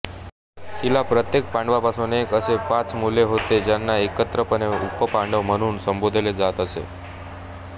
तिला प्रत्येक पांडवापासून एक असे पाच मुलगे होते ज्यांना एकत्रितपणे उपपांडव म्हणून संबोधले जात असे